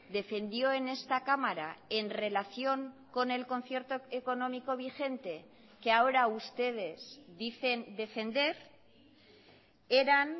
defendió en esta cámara en relación con el concierto económico vigente que ahora ustedes dicen defender eran